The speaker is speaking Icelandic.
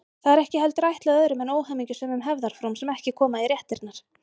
Það er ekki heldur ætlað öðrum en óhamingjusömum hefðarfrúm sem ekki koma í réttirnar.